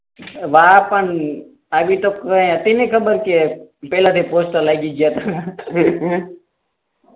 વાહ પણ અભી તક તો પેહલા દી પોસ્ટર લાગી ગયાતા